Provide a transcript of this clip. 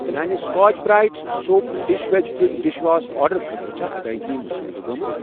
میانہِ Scotch Brite soap dispensing dishwash آرڈرٕ خٲطرٕ چھا ادٲیگی مصدقہٕ گٔمٕژ؟